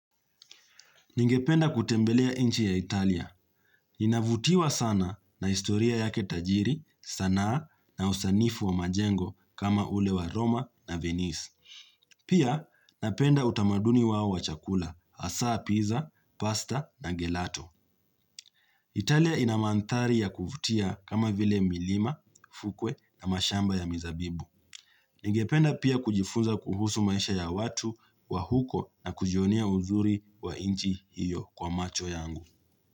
Ningependa kutembelea inchi ya Italia. Inavutiwa sana na historia yake tajiri, sanaa na usanifu wa majengo kama ule wa Roma na Venice. Pia napenda utamaduni wao wa chakula, asaa, pizza, pasta na gelato. Italia inamanthari ya kuvutia kama vile milima, fukwe na mashamba ya mizabibu. Ningependa pia kujifunza kuhusu maisha ya watu wa huko na kujionia uzuri wa inchi hiyo kwa macho yangu.